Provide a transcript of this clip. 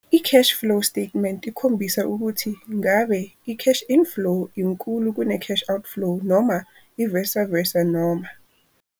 I-Cash-flow Statement ikhombisa ukuthi ngabe i-cash inflow inkulu kune cash outflow noma i-vice versa noma.